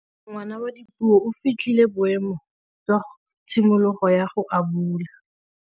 Ngwana wa Dipuo o fitlhile boêmô jwa tshimologô ya go abula.